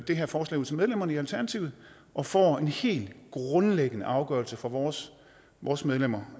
det her forslag ud til medlemmerne i alternativet og får en helt grundlæggende afgørelse fra vores vores medlemmer